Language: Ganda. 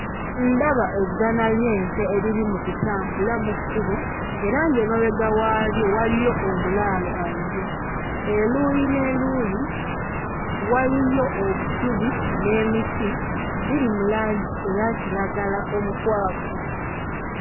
Ndaba eggana ly'ente eriri mu kutambula mu kkubo era ng'emabega waalyo waliyo omulaalo aliyo. Eruuyi n'eruuyi waliyo obusubi n'emiti biri mu langi eya kiragala omukwafu.